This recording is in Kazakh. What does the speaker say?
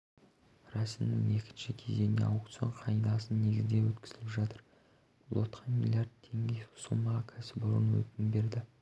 рәсімнің екінші кезеңін аукцион қағидасы негізінде өткізіп жатыр лотқа млрд теңге сомаға кәсіпорын өтінім берді